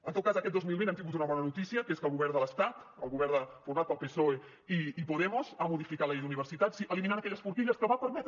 en tot cas aquest dos mil vint hem tingut una bona notícia que és que el govern de l’estat el govern format pel psoe i podemos ha modificat la llei d’universitats i ha eliminat aquelles forquilles que van permetre